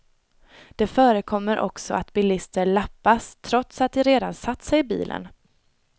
Det förekommer också att bilister lappas trots att de redan satt sig i bilen.